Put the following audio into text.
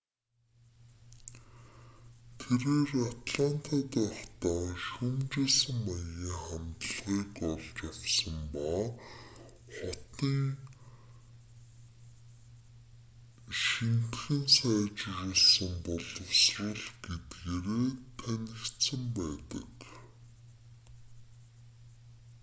тэрээр атлантад байхдаа шүүмжилсэн маягийн хандлагыг олж авсан ба хотын шинэтгэн сайжруулсан боловсрол гэдгээрээ танигдсан байдаг